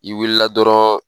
I wulila dɔrɔn